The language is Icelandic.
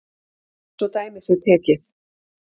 Svo dæmi sé tekið.